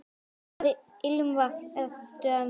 Hvaða ilmvatn ertu að nota?